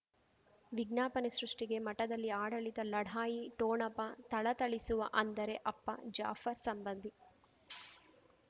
ವಿಜ್ಞಾಪನೆ ಸೃಷ್ಟಿಗೆ ಮಠದಲ್ಲಿ ಆಡಳಿತ ಲಢಾಯಿ ಠೋಣಪ ಥಳಥಳಿಸುವ ಅಂದರೆ ಅಪ್ಪ ಜಾಫರ್ ಸಂಬಂಧಿ